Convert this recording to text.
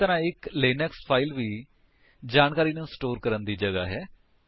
ਇਸੇ ਤਰਾਂ ਇੱਕ ਲਿਨਕਸ ਫਾਇਲ ਵੀ ਜਾਣਕਾਰੀ ਨੂੰ ਸਟੋਰ ਕਰਨ ਦੀ ਜਗ੍ਹਾ ਹੈ